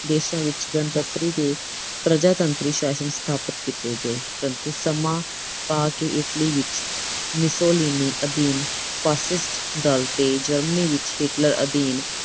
ਦੇਸ਼ਾਂ ਵਿੱਚ ਗਣਤੰਤਰੀ ਤੇ ਪ੍ਰਜਾਤੰਤਰੀ ਸ਼ਾਸਨ ਸਥਾਪਤ ਕੀਤੇ ਗਏ ਪ੍ਰੰਤੂ ਸਮਾਂ ਪਾ ਕੇ Italy ਵਿੱਚ Mussolini ਅਧੀਨ facist ਦਲ ਤੇ Germany ਵਿੱਚ Hitler ਅਧੀਨ